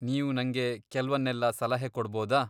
ನೀವ್ ನಂಗೆ ಕೆಲ್ವನ್ನೆಲ್ಲ ಸಲಹೆ ಕೊಡ್ಬೋದಾ?